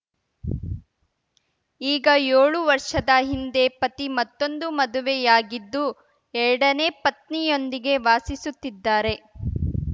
ಈಗ ಯೋಳು ವರ್ಷದ ಹಿಂದೆ ಪತಿ ಮತ್ತೊಂದು ಮದುವೆಯಾಗಿದ್ದು ಎರಡನೇ ಪತ್ನಿಯೊಂದಿಗೆ ವಾಸಿಸುತ್ತಿದ್ದಾರೆ